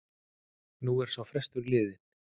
Nú er sá frestur liðinn.